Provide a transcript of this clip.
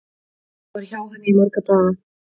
Ég var hjá henni í marga daga.